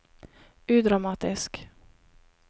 udramatisk